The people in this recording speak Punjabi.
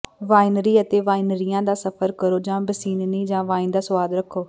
ਵਾਈਨਰੀ ਅਤੇ ਵਾਈਨਰੀਆਂ ਦਾ ਸਫਰ ਕਰੋ ਜਾਂ ਬਸੀਨਾਨੀ ਦੀ ਵਾਈਨ ਦਾ ਸੁਆਦ ਚਖੋ